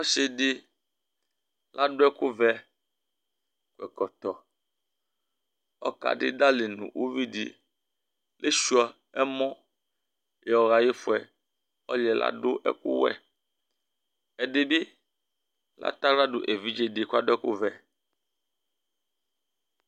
Ɔsi ladu ɛku vɛ, kɔ ɛkɔtɔ ɔka du idali nʋ ʋvi di Lesʋia ɛmɔ yɔha ayifʋɛ Ɔliyɛ ladu ɛku wɛ Ɛdí bi latɛ aɣla du evidze di kʋ adu ɛku vɛ